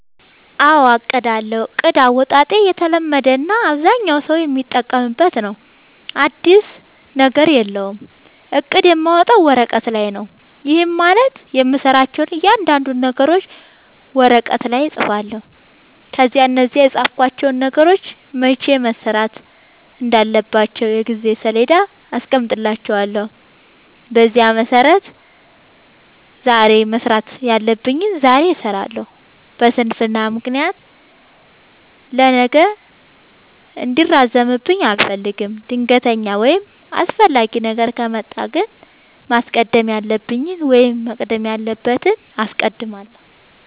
አዎ አቅዳለሁ። እቅድ አወጣጤ የተለመደ እና አብዛኛው ሠው የሚጠቀምበት ነው። አዲስ ነገር የለውም። እቅድ የማወጣው ወረቀት ላይ ነው። ይህም ማለት የምሠራቸውን እያንዳንዱን ነገሮች ወረቀት ላይ እፅፋለሁ። ከዚያ እነዛን የፃፍኳቸውን ነገሮች መቼ መሠራት እንዳለባቸው የጊዜ ሠሌዳ አስቀምጥላቸዋለሁ። በዚያ መሠረት ዛሬ መስራት ያለብኝን ዛሬ እሠራለሁ። በስንፍና ምክንያት ለነገ እንዲራዘምብኝ አልፈልግም። ድንገተኛ ወይም አስፈላጊ ነገር ከመጣ ግን ማስቀደም ያለብኝን ወይም መቅደም ያለበትን አስቀድማለሁ።